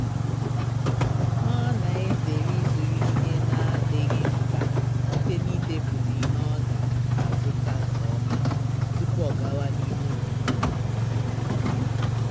ọ na-ezere ịzụrụ ihe na-adịghị mkpa site n'ịdepụta ihe ọ ga-azụta nke ọma tupu ọ gawa n'ime obodo